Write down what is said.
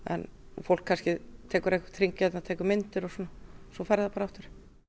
fólk kannski tekur einhvern hring hérna og tekur myndir svo fer það bara aftur